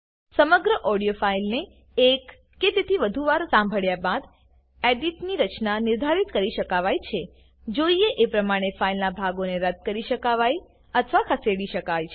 સમગ્ર ઓડીયો ફાઈલને એક કે તેથી વધુ વાર સાંભળ્યા બાદ એડિટની રચના નિર્ધારિત કરી શકાવાય છે જોઈએ એ પ્રમાણે ફાઈલનાં ભાગોને રદ્દ કરી શકાય અથવા ખસેડી શકાવાય છે